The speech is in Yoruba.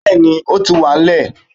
bẹẹni, o ti wa n lẹ